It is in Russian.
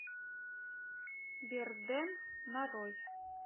берден нарой